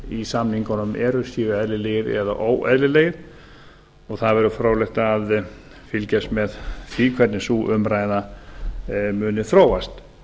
í samningunum eru eðlilega eða óeðlilega það verður fróðlegt að fylgjast með því hvernig sú umræða muni þróast